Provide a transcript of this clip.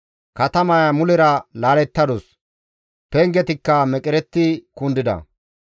Katamaya mulera laalettadus; pengetikka meqeretti kundida.